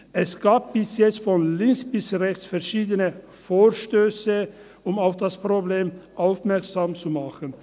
Es gab bisher von links bis rechts verschiedene Vorstösse, um auf das Problem aufmerksam zu machen.